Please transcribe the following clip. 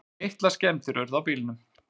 Litlar skemmdir urðu á bílnum.